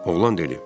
Oğlan dedi.